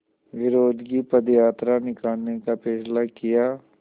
विरोध की पदयात्रा निकालने का फ़ैसला किया